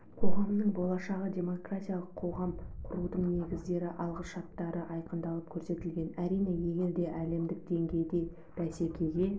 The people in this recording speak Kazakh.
қоғамының болашағы демократиялық қоғам құрудың негіздері алғышарттары айқындалып көрсетілген әрине егер де әлемдік деңгейде бәсекеге